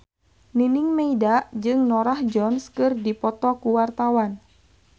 Nining Meida jeung Norah Jones keur dipoto ku wartawan